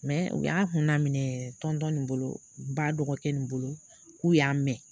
u y'a hun laminɛ nin bolo ba dɔgɔkɛ nin bolo k'u y'a mɛn.